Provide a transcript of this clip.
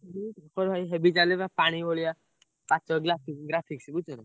ମୋର ଭାଇ heavy ଚାଲିଲା ପାଣି ଭଳିଆ graphics ବୁଝୁଛନା।